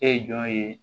E ye jɔn ye